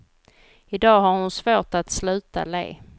I dag har hon svårt att sluta le.